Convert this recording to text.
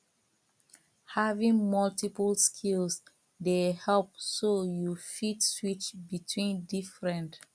having multiple skills dey help so you fit switch between different